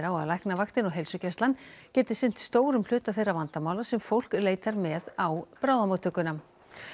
á að Læknavaktin og heilsugæslan geti sinnt stórum hluta þeirra vandamála sem fólk leitar með á bráðamóttökuna